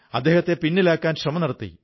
അദ്ദേഹത്തെ പിന്നിലാക്കാൻ ശ്രമം നടത്തി